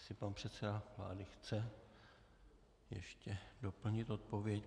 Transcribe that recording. Jestli pan předseda vlády chce ještě doplnit odpověď?